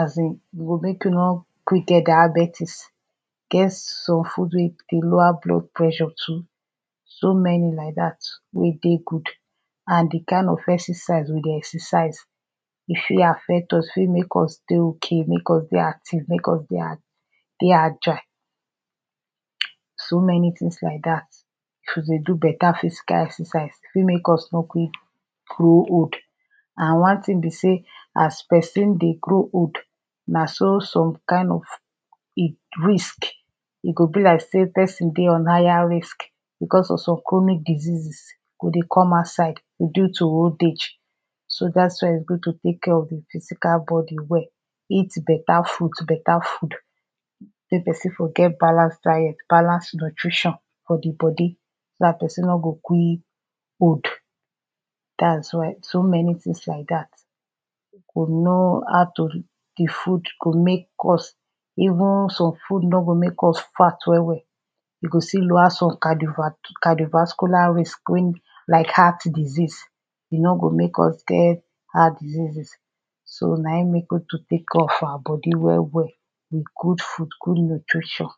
asin e go make you nor go quick get diabetis, e get some food wey e dey lower blood pressure too, so many like dat wey e dey good and di kin of exercise we dey exercise e fit affect us, fit make us dey okay, make us dey active, make us dey a dey agile. so many things like dat, if we dey do better physical excersice, e fit make us nor quick grow old and one thing be sey as person dey grow old na so some kind of risk, e go be like sey person dey on higher risk because of some chronic diseases e go dey come outside due to old age. so dat is why e good to take care of di physical body well, eat better fruit, better food, make person for get balance diet, balance nutrition for di body dat person nor go quick old. dats why so many things like dat, we know how to de food nor go make us even some food nor go make us fat well well, e go still lower some canivat canivascular risk wen like heart disease, e no go make us get heart diseases. so na im make we to take care of our body well well, with good food good nutrition.